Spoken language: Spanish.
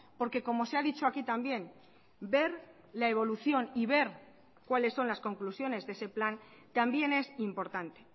porque como se ha dicho aquí también ver la evolución y ver cuáles son las conclusiones de ese plan también es importante